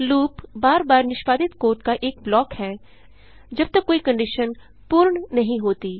loop बार बार निष्पादित कोड का एक ब्लॉक है जबतक कोई कंडिशन पूर्ण नहीं होती